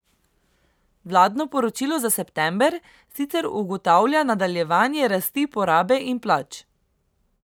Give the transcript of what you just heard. Vladno poročilo za september sicer ugotavlja nadaljevanje rasti porabe in plač.